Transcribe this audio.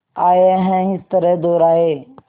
आए हैं इस तरह दोराहे